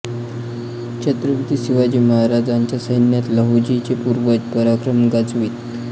छत्रपती शिवाजी महाराजांच्या सैन्यात लहुजींचे पूर्वज पराक्रम गाजवीत